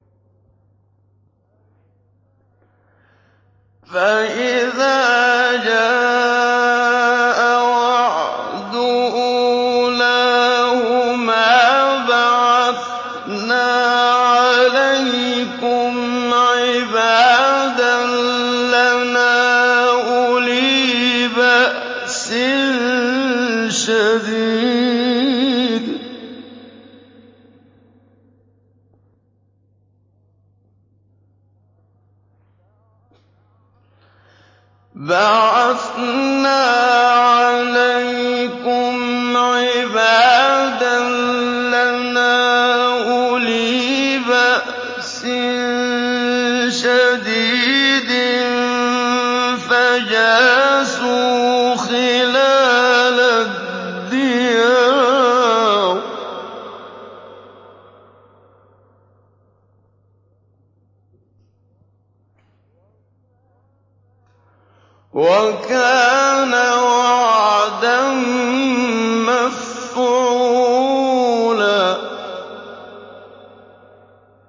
فَإِذَا جَاءَ وَعْدُ أُولَاهُمَا بَعَثْنَا عَلَيْكُمْ عِبَادًا لَّنَا أُولِي بَأْسٍ شَدِيدٍ فَجَاسُوا خِلَالَ الدِّيَارِ ۚ وَكَانَ وَعْدًا مَّفْعُولًا